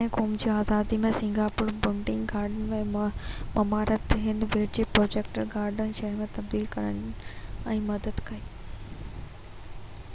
پهريان قوم جي آزادي ۾ سنگاپور بوٽينڪ گارڊن جي مهارت هن ٻيٽ کي ٽروپيڪل گارڊن شهر ۾ تبديل ڪرڻ ۾ مدد ڪئي